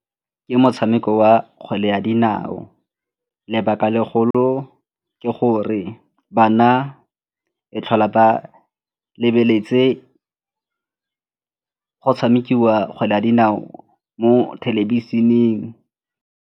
Ke motshameko wa kgwele ya dinao, lebaka legolo ke gore bana e tlhola ba lebeletse go tshamekiwa kgwele ya dinao mo thelebišeneng.